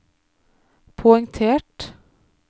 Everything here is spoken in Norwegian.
poengtert